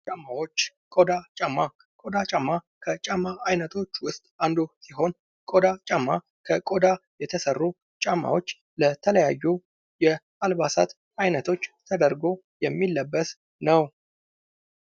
ጫማዎች ቆዳ ጫማ ቆዳ ጫማ ከጫማ አይነቶች ውስጥ አንዱ ሲሆን ቆዳ ጫማ ከቆዳ የተሰሩ ጫማዎች ለተለያዩ የአልባሳት ዐይነቶች ተደርጎ የሚለበት ነው።